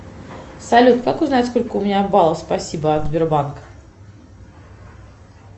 салют как узнать сколько у меня баллов спасибо от сбербанка